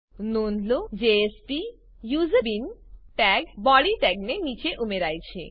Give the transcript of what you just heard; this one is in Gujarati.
નોંધ લો jspuseBean ટેગ બોડી ટેગની નીચે ઉમેરાય છે